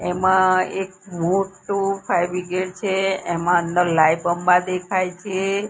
એમાં એક મોટ્ટું ફાયર બ્રિગેડ છે એમાં અંદર લાયબંબા દેખાય છે.